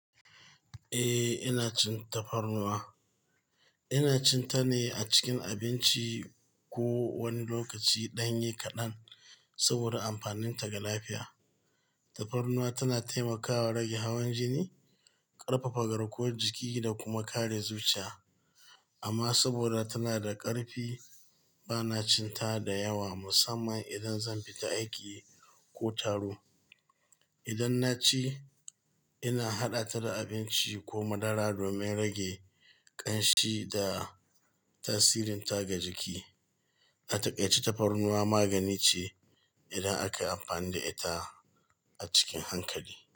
Eh, ina cin tafarnuwa. Ina cin ta ne a cikin abinci ko wani lokaci ɗanye kaɗan saboda amfaninta ga lafiya. Tafarnuwa tana taimakawa rage hawan jini, ƙarfafa garkuwar jiki da kuma kare zuciya. Amma saboda tana da ƙarfi, ba na cin ta da yawa, musamman idan zan fita aiki ko taro. Idan na ci, ina haɗa ta da abinci ko madara domin rage ƙanshi da tasirinta ga jiki. A taƙai ce tafarnuwa magani ce idan aka amfani da ita a cikin hankali.